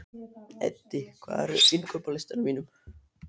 Eddi, hvað er á innkaupalistanum mínum?